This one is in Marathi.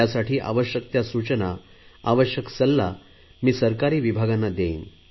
त्यासाठी आवश्क त्या सूचना आवश्यक सल्ला मी सरकारी विभागांना देईल